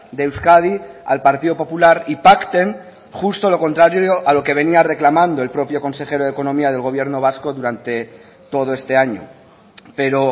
de euskadi al partido popular y pacten justo lo contrario a lo que venía reclamando el propio consejero de economía del gobierno vasco durante todo este año pero